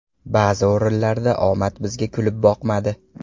Ba’zi o‘rinlarda omad bizga kulib boqmadi.